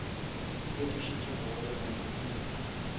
se fetošitšwego go ba maknete